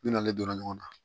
N'ale donna ɲɔgɔn na